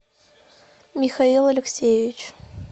михаил алексеевич